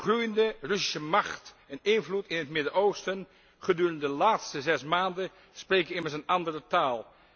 De groeiende Russische macht en invloed in het Midden Oosten gedurende de laatste zes maanden spreken immers een andere taal.